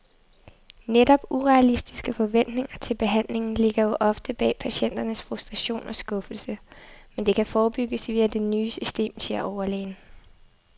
Netop urealistiske forventninger til behandlingen ligger jo ofte bag patienternes frustration og skuffelse, men det kan forebygges via det nye system, siger overlægen.